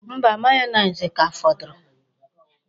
Mba, mayoneesi ka fọdụrụ.